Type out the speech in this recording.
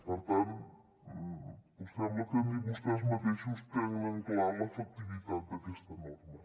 per tant sembla que ni vostès mateixos tenen clar l’efectivitat d’aquesta norma